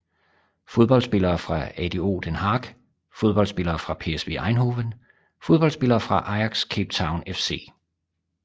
Fodboldspillere fra ADO Den Haag Fodboldspillere fra PSV Eindhoven Fodboldspillere fra Ajax Cape Town FC